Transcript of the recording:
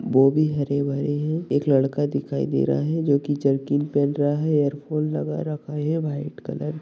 गोबी हरे-भरे है एक लड़का दिखाई दे रहा है जो की जर्किन पहन रहा है इयरफोन लगा रखा है व्हाइट कलर --